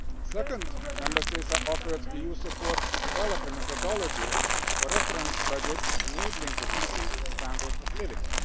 Second, Member States are offered EU support to develop a methodology for reference budgets enabling a decent standard of living.